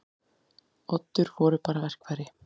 Oddur voru bara verkfæri.